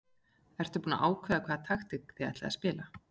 Ertu búinn að ákveða hvaða taktík þið ætlið að spila?